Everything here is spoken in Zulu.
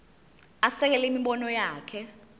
asekele imibono yakhe